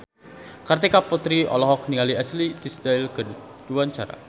Kartika Putri olohok ningali Ashley Tisdale keur diwawancara